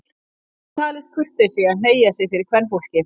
Það hefur löngum talist kurteisi að hneigja sig fyrir kvenfólki.